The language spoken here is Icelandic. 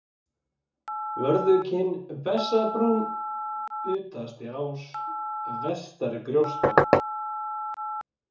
Vörðukinn, Bessabrún, Utastiás, Vestarigjósta